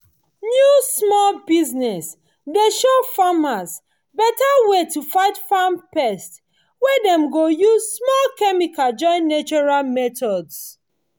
new small business dey show farmers beta way to fight farm pest wey dem go use small chemical join natural methods